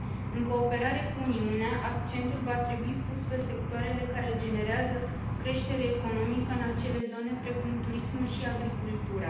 În cooperare cu Uniunea, accentul va trebui pus pe sectoarele care generează creștere economică în acele zone, precum turismul și agricultura.